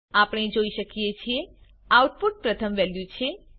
આપણે જોઈ શકીએ છીએ આઉટપુટ પ્રથમ વેલ્યુ છે